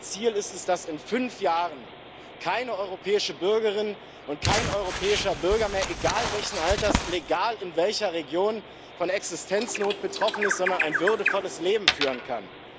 Mein Ziel ist es, dass in fünf Jahren keine europäische Bürgerin und kein europäischer Bürger egal welchen Alters, egal in welcher Region mehr von Existenznot betroffen ist, sondern ein würdevolles Leben führen kann.